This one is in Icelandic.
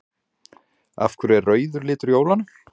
Af hverju er rauður litur jólanna?